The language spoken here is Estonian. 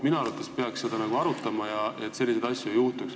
Minu arvates peaks seda arutama, et selliseid asju ei juhtuks.